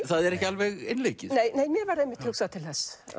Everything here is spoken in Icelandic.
það er ekki alveg einleikið nei mér varð einmitt hugsað til þess